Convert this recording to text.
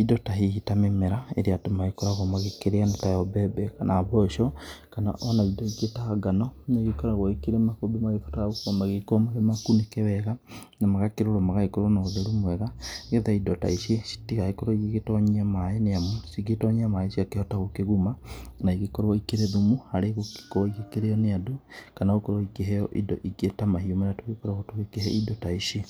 indo ta hihi ta mĩmera ĩrĩa andũ magĩkoragwo magĩkĩrĩa nĩ tayo mbembe kana mboco kana ona indo ingĩ ta ngano. Nĩ igĩkoragwo ikĩrĩ makũmbi magĩbataraga magĩgĩkorwo memakunĩke wega na magakĩrorwo magagĩkorwo na ũtheru mwega. Nĩ getha indo ta ici citigagĩkorwo igĩgĩtonyia maaĩ nĩ amu ingĩgĩtonyia maĩ ciakĩhota gũkĩguma na igĩkorwo ikĩrĩ thumu harĩ gũkorwo ikĩrĩo nĩ andũ. Kana gũkorwo ikĩheo indo ingĩ ta mahiũ marĩa tugĩkoragwo tũgĩkĩhe indo ta ici.